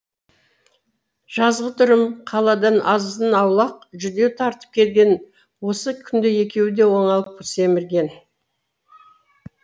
жазғытұрым қаладан азын аулақ жүдеу тартып келген осы күнде екеуі де оңалып семірген